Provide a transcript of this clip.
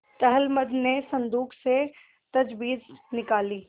अहलमद ने संदूक से तजबीज निकाली